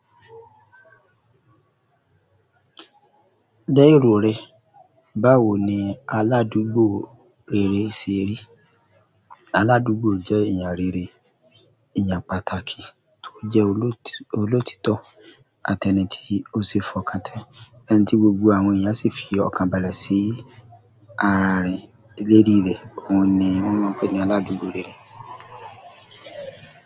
Lẹ́ rò rẹ, báwo ni aládùgbò rere ṣe rí? Aládùúgbò jẹ́ ẹ̀yàn rere, ẹ̀yàn pàtàkì tó jẹ́ olóti òlótítọ́ àti ẹni tí ó ṣé fọkàntẹ́ ẹni tí gbogbo àwọn ènìyàn sì fi ọkàn balẹ̀ sí ara rẹ̀ lé rírẹ́. Òun ni wọ́n máa ń pe ní aládùúgbò rere.